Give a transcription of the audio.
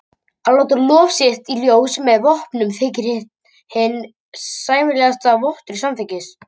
Að láta lof sitt í ljós með vopnum þykir hinn sæmilegasti vottur samþykkis.